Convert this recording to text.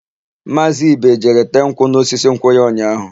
Maazị Ibe jere tee nkwụ n'osisi nkwụ ya ụnyaahụ.